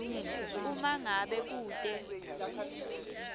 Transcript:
uma ngabe kute